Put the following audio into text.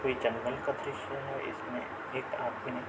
कोई जंगल का दृश्य है। इसमें एक आदमी --